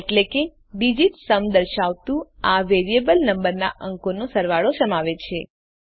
એટલે કે digit sum દર્શાવતું આ વેરિયેબલ નંબરના અંકોનો સરવાળો સમાવે છે